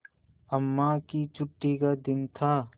अम्मा की छुट्टी का दिन था